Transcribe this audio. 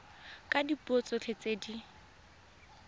ka dipuo tsotlhe tse di